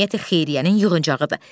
Cəmiyyəti xeyriyyənin yığıncağıdır.